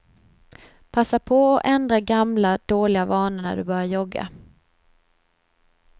Passa på att ändra gamla, dåliga vanor när du börjar jogga.